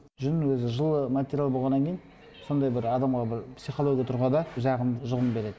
жүн өзі жылы материал болғаннан кейін сондай бір адамға бір психология тұрғыда жағымды жұғым береді